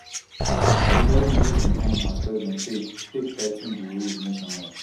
joe biden use im time as president take take tigh ten di rules nationwide